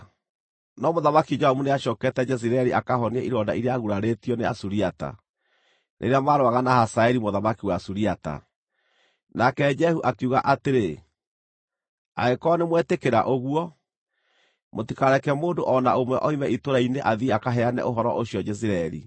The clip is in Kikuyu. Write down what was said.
No Mũthamaki Joramu nĩacookete Jezireeli akahonie ironda iria aagurarĩtio nĩ Asuriata, rĩrĩa maarũaga na Hazaeli mũthamaki wa Suriata.) Nake Jehu akiuga atĩrĩ, “Angĩkorwo nĩmwetĩkĩra ũguo, mũtikareke mũndũ o na ũmwe oime itũũra-inĩ athiĩ akaheane ũhoro ũcio Jezireeli.”